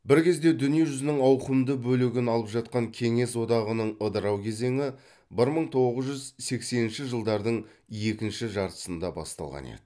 бір кезде дүние жүзінің ауқымды бөлігін алып жатқан кеңес одағының ыдырау кезеңі бір мың тоғыз жүз сексенінші жылдардың екінші жартысында басталған еді